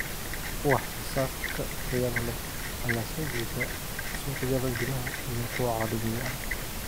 Wax soo saarka tayada leh ayaa soo jiita suuqyada gudaha iyo kuwa caalamiga ah.